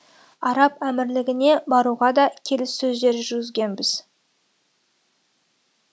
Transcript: араб әмірлігіне баруға да келіссөздер жүргізгенбіз